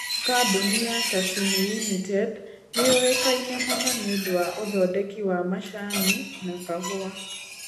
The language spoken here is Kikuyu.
Kambuni ya Sasini Limited nĩ yũĩkaine mũno nĩ ũndũ wa ũthondeki wa macani na kahũa.